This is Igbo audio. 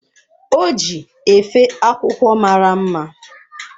O ji efe akwụkwọ mara mma.